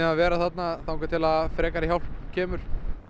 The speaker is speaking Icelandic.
að vera þarna þar til meiri hjálp kemur